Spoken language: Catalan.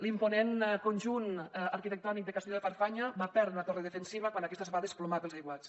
l’imponent conjunt arquitectònic de castelló de farfanya va perdre una torre defensiva quan aquesta es va desplomar pels aiguats